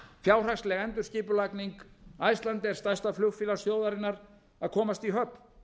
fjárhagsleg endurskipulagning icelandair stærsta flugfélags þjóðarinnar að komast í höfn